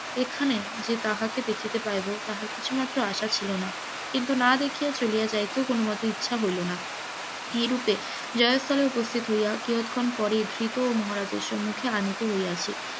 এখানে যে তাহাকে দেখিতে পাইব তাহা কিছুমাত্র আশা ছিল না, কিন্তু নাদেখিয়া চলিয়া যাইতেও কোন মতে ইচ্ছা হইল না, এইরূপে জয়স্থলে উপস্থিত হইয়া কিয়ৎক্ষণ পরে এই ধৃত মহারাজের সম্মুখে আনিত হইয়াছে,